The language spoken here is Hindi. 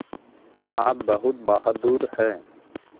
आप बहुत बहादुर हैं